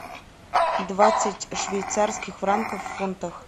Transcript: двадцать швейцарских франков в фунтах